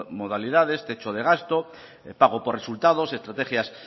modalidades techo de gasto pago por resultados estrategias